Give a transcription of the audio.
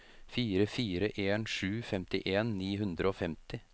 fire fire en sju femtien ni hundre og femti